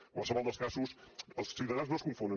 en qualsevol dels casos els ciutadans no es confonen